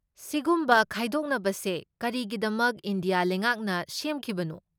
ꯁꯤꯒꯨꯝꯕ ꯈꯥꯏꯗꯣꯛꯅꯕꯁꯦ ꯀꯔꯤꯒꯤꯗꯃꯛ ꯏꯟꯗꯤꯌꯥ ꯂꯩꯉꯥꯛꯅ ꯁꯦꯝꯈꯤꯕꯅꯣ?